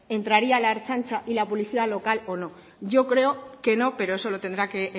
entraría la ertzaintza y la policía local o no yo creo que no pero eso lo tendrá que